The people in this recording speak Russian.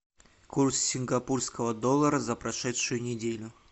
курс сингапурского доллара за прошедшую неделю